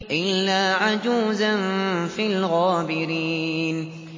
إِلَّا عَجُوزًا فِي الْغَابِرِينَ